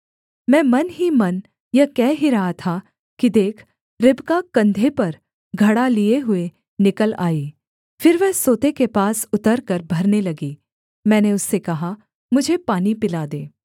मैं मन ही मन यह कह ही रहा था कि देख रिबका कंधे पर घड़ा लिये हुए निकल आई फिर वह सोते के पास उतरकर भरने लगी मैंने उससे कहा मुझे पानी पिला दे